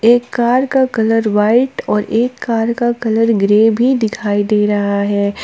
एक कार का colour white और एक कार का कलर ग्रे भी दिखाई दे रहा है।